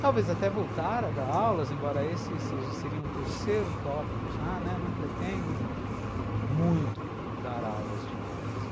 Talvez até voltar a dar aulas, embora esse seria um terceiro tópico já, né, não pretendo muito dar aulas de inglês.